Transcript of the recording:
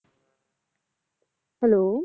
hello